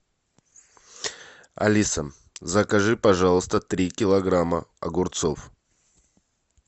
алиса закажи пожалуйста три килограмма огурцов